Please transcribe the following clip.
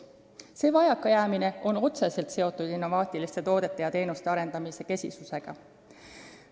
See vajakajäämine on otseselt seotud innovaatiliste toodete ja teenuste arendamise kesisusega.